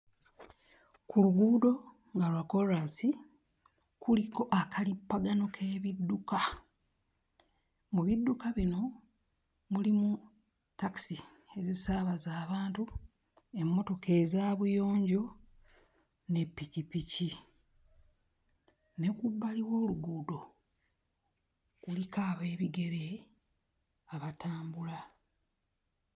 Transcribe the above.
Ku luguudo nga lwa kkoolaasi kuliko akalippagano k'ebidduka. Mu bidduka bino mulimu ttakisi ezisaabaza abantu, emmotoka eza buyonjo ne ppikippiki, ne ku bbali w'oluguudo kuliko ab'ebigere abatambula.